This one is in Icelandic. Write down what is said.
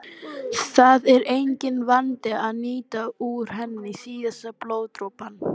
Það er enginn vandi að nýta úr henni síðasta blóðdropann.